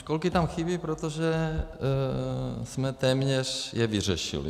Školky tam chybí, protože jsme téměř je vyřešili.